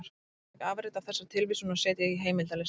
Hægt er að taka afrit af þessari tilvísun og setja í heimildalista.